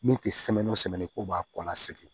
Min tɛ ko b'a kɔnɔna sɛgɛn